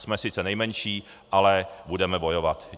Jsme sice nejmenší, ale budeme bojovat.